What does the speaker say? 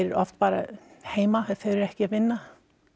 oft bara heima ef þau eru ekki að vinna